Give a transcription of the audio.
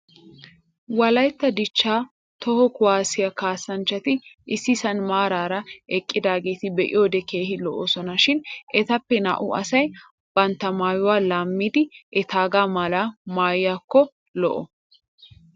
Wolaytta dichchaa toho kuwaasiya kaassanchchati issisan maaraa eqiidageeta be'iyoode keehin lo'oosona. Shin etappe naa'u asay bantta maayuwa laammidi etaagaa malaa maayiyaakko lo'o.